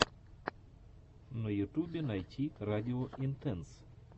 на ютубе найти радио интенс